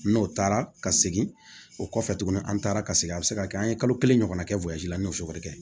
N'o taara ka segin o kɔfɛ tuguni an taara ka segin a bɛ se ka kɛ an ye kalo kelen ɲɔgɔn na kɛ la n'o su kɛrɛ